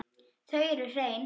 Þau eru hrein.